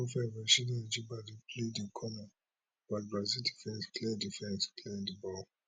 rasheedat ajibade play di corner but brazil defence clear defence clear di ball